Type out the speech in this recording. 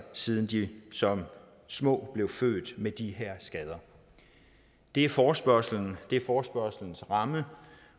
siden de som små blev født med de her skader det er forespørgslens er forespørgslens ramme